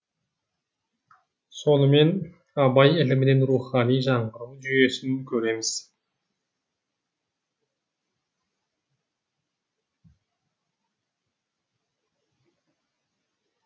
сонымен абай ілімінен рухани жаңғыру жүйесін көреміз